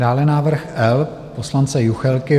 Dále návrh L poslance Juchelky.